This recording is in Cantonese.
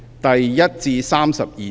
第1至32條。